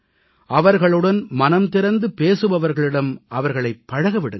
அவர்களுடன் மனம் திறந்து பேசுபவர்களிடம் அவர்களைப் பழக விடுங்கள்